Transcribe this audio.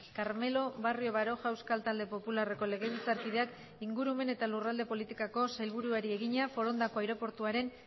carmelo barrio baroja euskal talde popularreko legebiltzarkideak ingurumen eta lurralde politikako sailburuari egina forondako aireportuaren